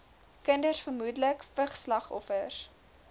kinders vermoedelik vigsslagoffers